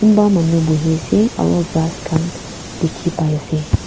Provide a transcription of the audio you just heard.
kunba manu buhe ase aro ghas khan dikhi pai ase.